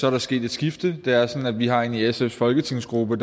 er sket et skifte det er sådan at vi har en i sfs folketingsgruppe